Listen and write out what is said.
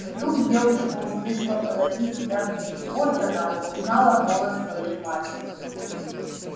вдруг девочка услышала позади себя крик вот она и узнала голос своей матери